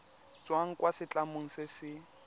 tswang kwa setlamong se se